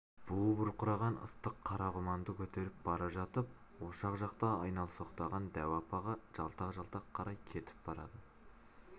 буы бұрқыраған ыстық қара құманды көтеріп бара жатып ошақ жақта айналсоқтаған дәу апаға жалтақ-жалтақ қарай кетіп барады